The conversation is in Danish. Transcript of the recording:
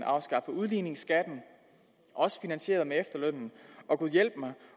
afskaffe udligningsskatten også finansieret med afskaffelse af efterlønnen og gudhjælpemig